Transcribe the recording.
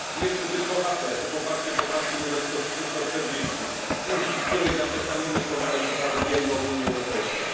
Jeszcze tylko apel o poparcie poprawki numer 140, dzięki której zaprzestaniemy wspomagać uprawy GMO w Unii Europejskiej.